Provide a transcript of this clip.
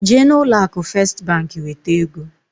Jee na ụlọ akụ Fest bank weta egoǃ